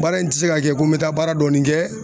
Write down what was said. Baara in tɛ se ka kɛ ko n bɛ taa baara dɔɔni kɛ